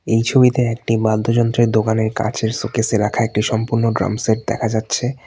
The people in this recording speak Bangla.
এই ছবিতে একটি বাদ্যযন্ত্রের দোকানের কাঁচের শোকেস -এ রাখা একটি সম্পূর্ণ ড্রাম সেট দেখা যাচ্ছে।